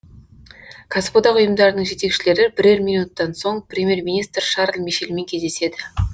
кәсіподақ ұйымдарының жетекшілері бірер минуттан соң премьер министр шарль мишельмен кездеседі